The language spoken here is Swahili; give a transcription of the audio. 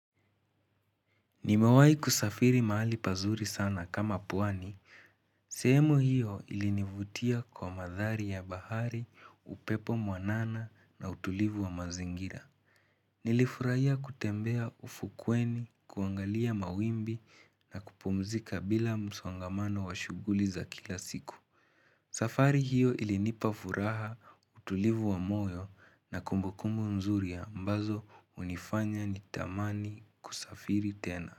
Nimewahi kusafiri mahali pazuri sana kama pwani, sehemu hiyo ilinivutia kwa mandhari ya bahari, upepo mwanana na utulivu wa mazingira. Nilifurahia kutembea ufukweni, kuangalia mawimbi na kupumzika bila msongamano wa shughuli za kila siku. Safari hiyo ilinipa furaha utulivu wa moyo na kumbukumbu mzuri ya ambazo hunifanya nitamani kusafiri tena.